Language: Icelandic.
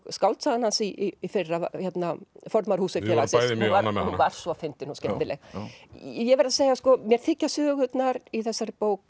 skáldsagan hans í fyrra formaður húsfélagsins hún var svo fyndin og skemmtileg ég verð að segja að mér þykja sögurnar í þessari bók